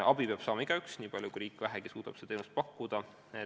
Abi peab saama igaüks nii palju, kui riik vähegi suudab seda pakkuda.